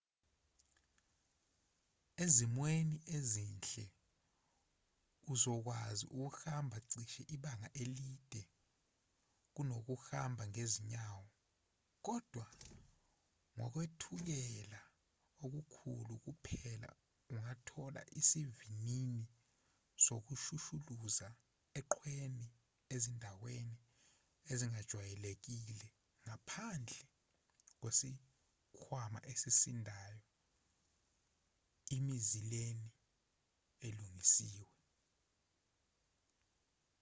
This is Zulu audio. ezimweni ezinhle uzokwazi ukuhamba cishe ibanga elide kunokuhamba ngezinyawo kodwa ngokwethukela okukhulu kuphela ungathola isivinini sokushushuluza eqhweni ezindaweni ezingajwayelekile ngaphandle kwesikhwama esisindayo emizileni elungisiwe